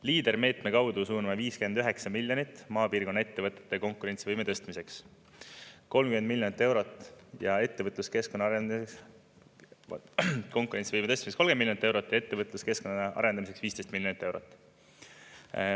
Leader-meetme kaudu suuname 59 miljonit maapiirkonna ettevõtete konkurentsivõime tõstmiseks, konkurentsivõime tõstmiseks 30 miljonit eurot ja ettevõtluskeskkonna arendamiseks 15 miljonit eurot.